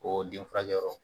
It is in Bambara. O denfurakɛ yɔrɔ.